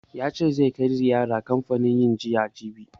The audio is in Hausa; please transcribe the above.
Ya ce zai kai ziyara kanfanin yin giya jibi.